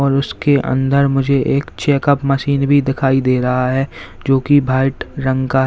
उसके अंदर मुझे एक चेकअप मशीन भी दिखाई दे रहा है जो की व्हाइट रंग का है।